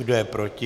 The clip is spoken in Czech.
Kdo je proti?